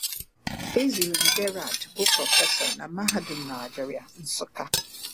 Ezirim Gerald bụ prọfesọ na Mahadum Nigeria, Nsukka.